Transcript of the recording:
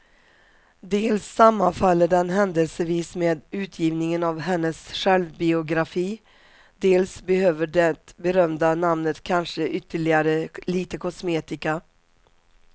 Dels sammanfaller den händelsevis med utgivningen av hennes självbiografi, dels behöver det berömda namnet kanske ytterligare lite kosmetika.